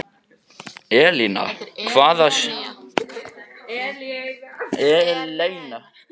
Eleina, hvaða sýningar eru í leikhúsinu á laugardaginn?